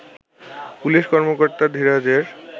police কর্মকর্তা ধীরাজের